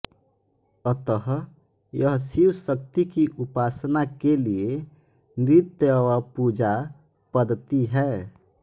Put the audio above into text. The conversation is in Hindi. अतः यह शिव शक्ती की उपासना के लिये निर्त्य व पूजा पद्दती है